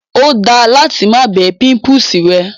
Ó da láti má bẹ́ pímpúsì rẹ.